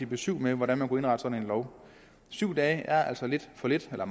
besyv med om hvordan man kunne indrette sådan en lov syv dage er altså meget for lidt når